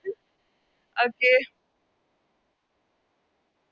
Okay